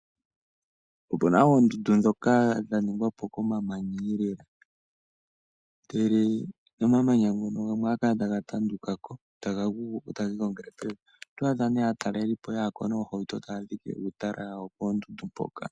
Opu na oondundu ndhoka dha ningwa po komamanya, ihe omamanya gamwe ohaga kala taga tanduka ko taga gu ko taga igongele pevi. Oto adha nduno aatalelipo ya ya ko noohauto e taya dhike uutala wawo poondundu mpoka.